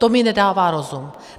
To mi nedává rozum.